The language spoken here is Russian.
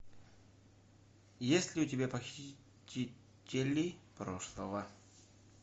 есть ли у тебя похитители прошлого